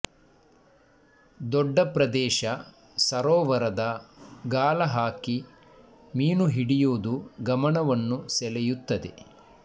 ದೊಡ್ಡ ಪ್ರದೇಶ ಸರೋವರದ ಗಾಳಹಾಕಿ ಮೀನು ಹಿಡಿಯುವುದು ಗಮನವನ್ನು ಸೆಳೆಯುತ್ತದೆ